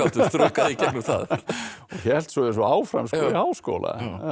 þraukað í gegnum það og hélt svo áfram í háskóla